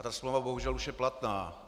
A ta smlouva bohužel už je platná.